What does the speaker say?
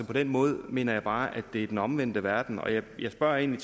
på den måde mener jeg bare at det er den omvendte verden og jeg spørger egentlig